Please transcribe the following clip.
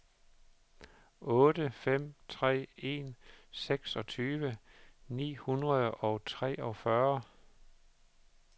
otte fem tre en seksogtyve ni hundrede og treogfyrre